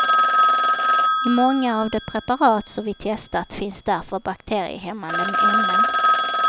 I många av de preparat som vi testat finns därför bakteriehämmande ämnen.